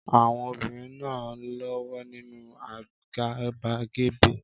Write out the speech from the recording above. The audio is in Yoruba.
Àwọn obìnrin náà lọ́wọ́ nínú àgàbàgebè.